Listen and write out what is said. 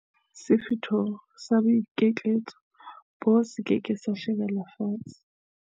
Sefutho sa boikitlaetso boo se ke ke sa shebelwa fatshe.